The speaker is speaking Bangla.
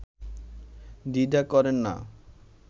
দ্বিধা করেন না